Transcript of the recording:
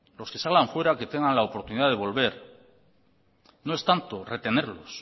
los que salgan fuera que tengan la oportunidad de volver no es tanto retenerlos